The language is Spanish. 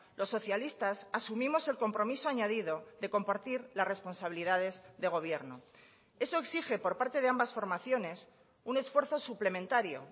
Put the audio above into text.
los socialistas asumimos el compromiso añadido de compartir las responsabilidades de gobierno eso exige por parte de ambas formaciones un esfuerzo suplementario